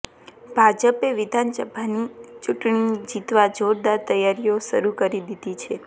ભાજપે વિધાનસભાની ચૂંટણી જીતવા જોરદાર તૈયારીઓ શરૃ કરી દીધી છે